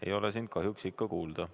Ei ole sind kahjuks ikka kuulda.